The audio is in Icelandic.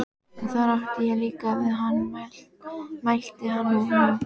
Og þar átti ég líka við hann, mælti hann nú.